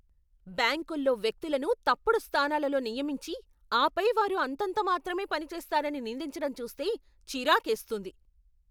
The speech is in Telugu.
బ్యాంకుల్లో వ్యక్తులను తప్పుడు స్థానాలలో నియమించి, ఆపై వారు అంతంతమాత్రమే పనిచేస్తారని నిందించడం చూస్తే చిరాకేస్తుంది.